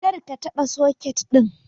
Kar ka taɓa soket ɗin!